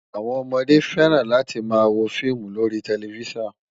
Àwọn ọmọdé fẹ́ràn láti máa wo fíìmù lórí tẹlifísàn